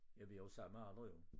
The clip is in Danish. Ja vi er jo samme alder jo